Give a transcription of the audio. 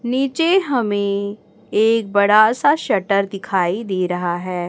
नीचे हमें एक बड़ा सा सटर दिखाई दे रहा है।